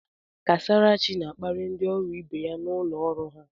Kasarachi na-akparị ndị ọrụ ibe ya na ụlọ ọrụ ha.